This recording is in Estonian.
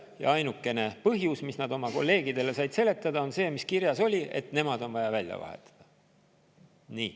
Ja ainukene põhjus, mis nad oma kolleegidele said, on see, mis kirjas oli: et nemad on vaja välja vahetada.